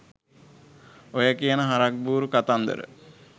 ඔය කියන හරක් බුරු කතන්දර